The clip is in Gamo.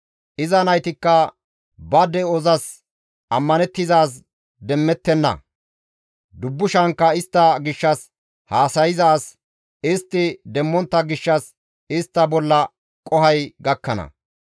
Iza naytikka ba de7ozas ammanththizaaz demmettenna; dubbushankka istta gishshas haasayza as istti demmontta gishshas istta bolla qohoy gakkana.